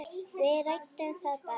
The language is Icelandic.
Við ræddum það bara.